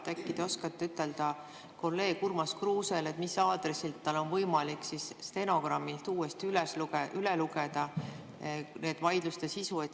Äkki te oskate ütelda kolleeg Urmas Kruusele, mis aadressil tal on võimalik stenogrammist uuesti lugeda nende vaidluste sisu?